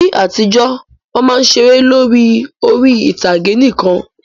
Ní àtijọ́, Wọ́n máa ń ṣeré lórí orí-ìtàgé nìkan